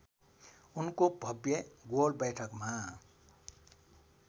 उनको भव्य गोलबैठकमा